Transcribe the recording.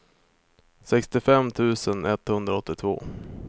sextiofem tusen etthundraåttiotvå